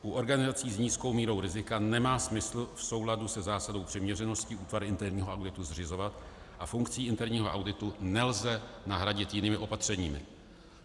U organizací s nízkou mírou rizika nemá smysl v souladu se zásadou přiměřenosti útvar interního auditu zřizovat a funkci interního auditu nelze nahradit jinými opatřeními.